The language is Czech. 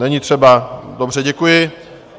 Není třeba, dobře, děkuji.